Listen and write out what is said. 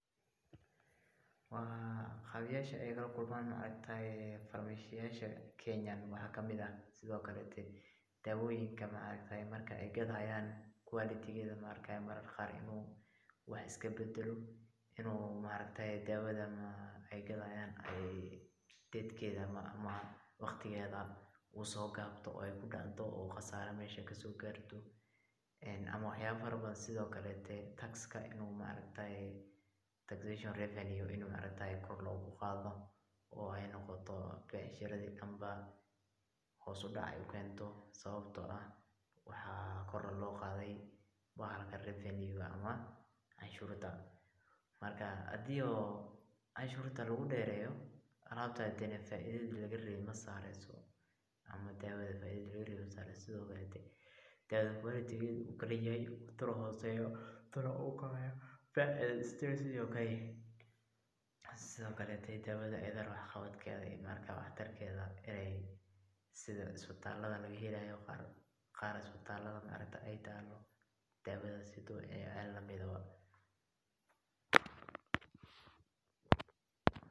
Caqabayaasha aay lakulmaan farmashiyaasha Kenya waxaa kamid ah, daawoyiinka marki aay gadayaan quality inuu wax iska badalo, inuu daawada aay gadaayan aay waqtigeeda uu soo gaabto oo khasaara meesha aay kasoo saarto, ama wax yaaba fara badan, sido kaleete tax in kor loogu qaado, oo aay becshirada dan hoos udac ukeento, sababta oo ah waxaa kor loo qaade cashuurta, marki hadii oo cashuurta lagu deereyo alaabta faidada laga rabe masaareyso, ama daawada faidada laga rabe makeneyso, sido kaleete daawada wax tarkeeda ama wax qabadkeeda uu yaraado sida isbitaalada qaar aay nayeelaan.